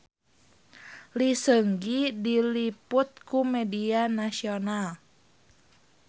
Lee Seung Gi diliput ku media nasional